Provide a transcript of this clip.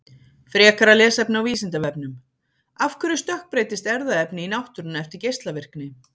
Frekara lesefni á Vísindavefnum: Af hverju stökkbreytist erfðaefni í náttúrunni eftir geislavirkni?